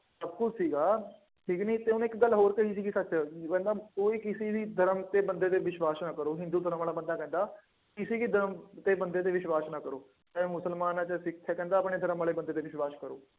ਸੀਗਾ, ਠੀਕ ਕਿ ਨਹੀਂ ਅਤੇ ਉਹਨੇ ਇੱਕ ਗੱਲ ਹੋਰ ਕਹੀ ਸੀਗੀ ਸੱਚ ਕੋਈ ਕਿਸੇ ਵੀ ਧਰਮ ਤੇ ਵਿਸਵਾਸ਼ ਨਾ ਕਰੋ। ਹਿੰਦੂ ਧਰਮ ਵਾਲਾ ਬੰਦਾ ਕਹਿੰਦਾ ਕਿਸੇ ਕੀ ਧਰਮ ਕੇ ਬੰਦੇ ਤੇ ਵਿਸ਼ਵਾਸ਼ ਨਾ ਕਰੋ। ਚਾਹੇ ਮੁਸਲਮਾਨ ਹੈ, ਚਾਹੇ ਸਿੱਖ ਹੈ, ਕਹਿੰਦਾ ਆਪਣੇ ਧਰਮ ਵਾਲੇ ਬੰਦੇ ਤੇ ਵਿਸ਼ਵਾਸ਼ ਕਰੋ।